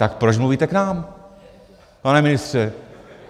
Tak proč mluvíte k nám, pane ministře?